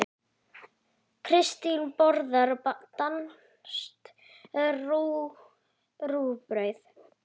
Kristín borðar danskt rúgbrauð.